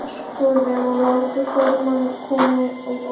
En er áskorun að láta þorramat koma á óvart?